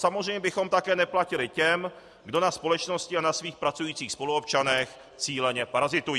Samozřejmě bychom také neplatili těm, kdo na společnosti a na svých pracujících spoluobčanech cíleně parazitují.